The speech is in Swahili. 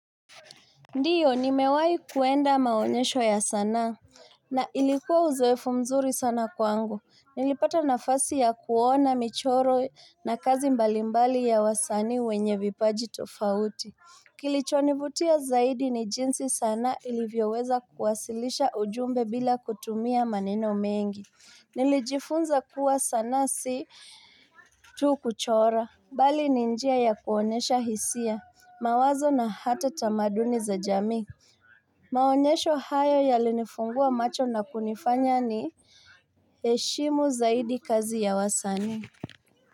Ndiyo, nimewai kuenda maonyesho ya sana na ilikuwa uzoefu mzuri sana kwangu. Nilipata nafasi ya kuona michoro na kazi mbalimbali ya wasani wenye vipaji tofauti. Kilichonivutia zaidi ni jinsi sana ilivyoweza kuwasilisha ujumbe bila kutumia maneno mengi. Nilijifunza kuwa sana si tu kuchora. Bali ni njia ya kuonesha hisia, mawazo na hata tamaduni za jami Maonesho hayo yalinifungua macho na kunifanya ni eshimu zaidi kazi ya wasani.